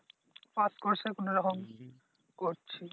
pass কোর্সে কোন রকম করছি